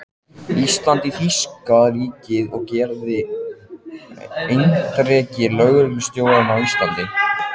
Íslands í þýska ríkið og gerðist erindreki lögreglustjórans á Íslandi.